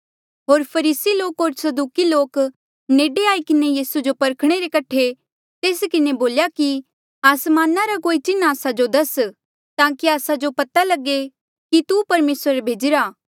होर फरीसी लोक होर सदूकी लोक नेडे आई किन्हें यीसू जो परखणे रे कठे तेस किन्हें बोल्या कि आसमाना रा कोई चिन्ह आस्सा जो दस ताकि आस्सा जो पता लगे कि तू परमेसरे ई भेजिरा